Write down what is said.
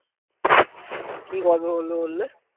কি গল্প বলবে বললে?